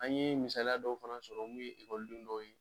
An yee misaliya dɔw fana sɔrɔ n'u ye den dɔw ye